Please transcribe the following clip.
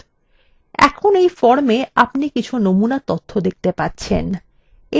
এখন এই formwe আপনি কিছু নমুনা তথ্য দেখতে পাচ্ছেন